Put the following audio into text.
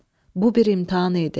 Bu bir imtahan idi.